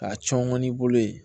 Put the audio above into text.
K'a cɔngɔn n'i bolo ye